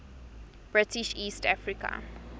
british east africa